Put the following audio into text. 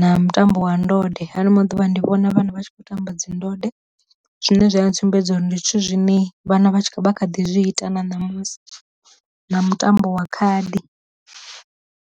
na mutambo wa ndode, hano maḓuvha ndi vhona vhana vha tshi khou tamba dzi ndode zwine zwa a ntsumbedza uri ndi zwithu zwine vhana vha vha kha ḓi zwi ita na ṋamusi, na mutambo wa khadi.